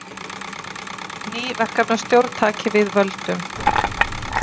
Ný verkefnisstjórn taki við völdum